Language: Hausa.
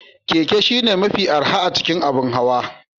Keke shine mafi arha a cikin abin hawa